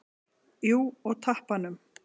Jú, og tappanum.